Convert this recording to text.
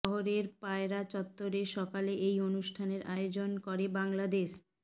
শহরের পায়রা চত্বরে সকালে এই অনুষ্ঠানের আয়োজন করে বাংলাদেশ